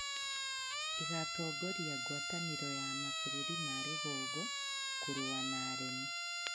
ĩgatongoria ngwatanĩro ya mabũrũri ma rũgongo kũrũa na aremi